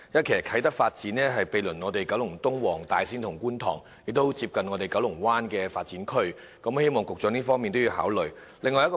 其實，啟德發展區毗鄰九龍東、黃大仙和觀塘，亦非常接近九龍灣發展區，希望局長能同時考慮這一方面。